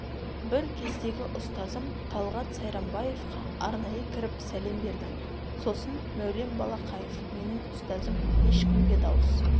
бір кездегі ұстазым талғат сайрамбаевқа арнайы кіріп сәлем бердім сосын мәулен балақаев менің ұстазым ешкімге дауыс